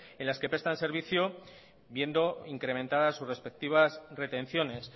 en las que prestan servicio viendo incrementadas sus respectivas retenciones